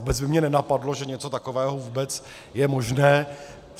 Vůbec by mě nenapadlo, že něco takového vůbec je možné.